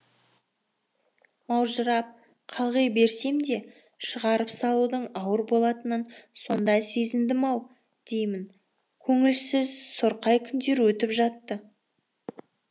маужырап қалғи берсем де шығарып салудың ауыр болатынын сонда сезіндім ау деймін көңілсіз сұрқай күндер өтіп жатты